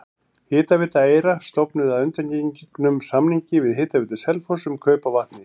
Hitaveita Eyra stofnuð að undangengnum samningi við Hitaveitu Selfoss um kaup á vatni.